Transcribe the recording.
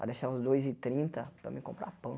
Para deixar uns dois e trinta para mim comprar pão.